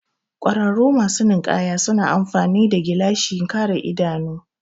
ƙwararru masu ninkaya suna amfani gilashin kare idanu